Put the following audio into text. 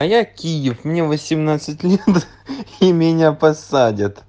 а я киев мне восемнадцать лет и меня посадят